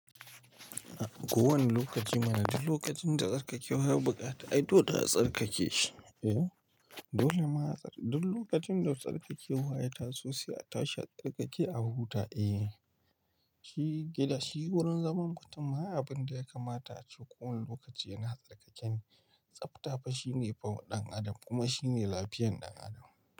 Kowane lokaci mana duk lokacin da tsarkakewa ya buƙata, ai dole za a tsarkake shi eye. Dole ma tsark, duk lokacin da tsarkakewa ya taso sai a tashi a tsarkake a huta e. Shi gida shi wurin zaman kutumma, ai abinda ya kamata a ce kowane lokaci yana tsarkakene. Tsafta fa shine fa ɗan adam kuma shine lafiyan ɗan adam.